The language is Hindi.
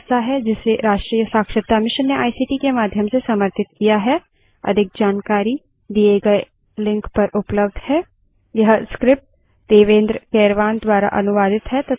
अब हम इस tutorial के अंत में a चुके हैं spoken tutorial talk to a teacher project का हिस्सा है जिसे राष्ट्रीय साक्षरता mission ने ict के माध्यम से समर्थित किया है